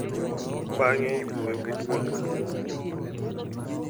Bang’e, iwuoyo gi dwol maduong’.